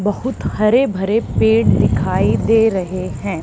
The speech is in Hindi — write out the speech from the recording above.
बहुत हरे भरे पेड़ दिखाई दे रहे हैं।